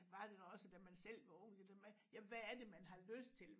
Var det da også da man selv var ung det der med jamen hvad er det man har lyst til